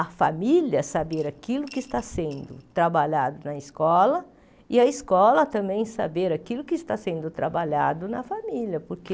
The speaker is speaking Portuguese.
A família saber aquilo que está sendo trabalhado na escola, e a escola também saber aquilo que está sendo trabalhado na família, porque...